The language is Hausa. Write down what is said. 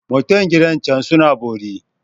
Mutan gidan can suna bori.